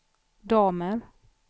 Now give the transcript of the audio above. damer